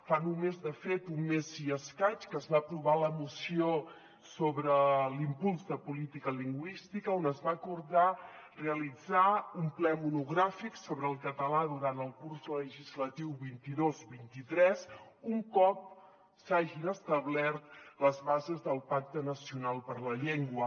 fa només de fet un mes i escaig que es va aprovar la moció sobre l’impuls de política lingüística on es va acordar realitzar un ple monogràfic sobre el català durant el curs legislatiu vint dos vint tres un cop s’hagin establert les bases del pacte nacional per la llengua